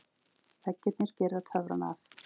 Veggirnir girða töfrana af.